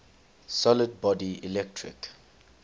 solid body electric